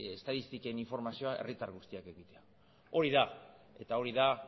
estatistiken informazioa herritar guztiak edukitzea hori da